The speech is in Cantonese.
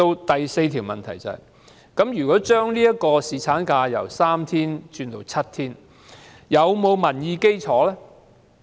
第四個問題是，把侍產假由3天增至7天，是否具有民意基礎？